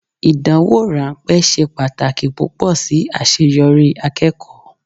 Ìdánwò ráńpẹ́ ṣe pàtàkì púpọ̀ sí àṣeyọrí akẹ́kọ̀ọ́.